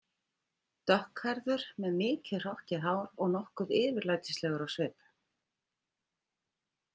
Dökkhærður með mikið og hrokkið hár og nokkuð yfirlætislegur á svip.